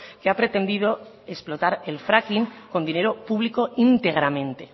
que ha pretendido explotar el fracking con dinero público íntegramente